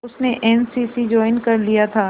उसने N C C join कर लिया था